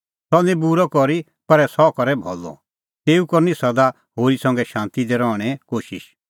सह निं बूरअ करी पर सह करै भलअ तेऊ करनी सदा होरी संघै शांती दी रहणें कोशिश